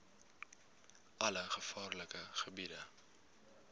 alle gevaarlike gebiede